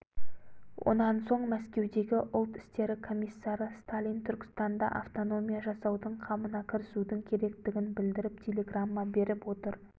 онан соң мәскеудегі ұлт істері комиссары сталин түркістанда автономия жасаудың қамына кірісудің керектігін білдіріп телеграмма беріп отыр